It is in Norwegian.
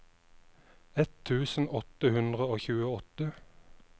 ett tusen åtte hundre og tjueåtte